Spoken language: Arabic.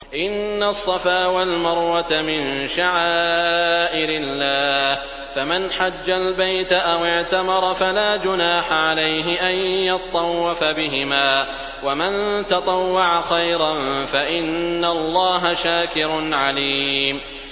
۞ إِنَّ الصَّفَا وَالْمَرْوَةَ مِن شَعَائِرِ اللَّهِ ۖ فَمَنْ حَجَّ الْبَيْتَ أَوِ اعْتَمَرَ فَلَا جُنَاحَ عَلَيْهِ أَن يَطَّوَّفَ بِهِمَا ۚ وَمَن تَطَوَّعَ خَيْرًا فَإِنَّ اللَّهَ شَاكِرٌ عَلِيمٌ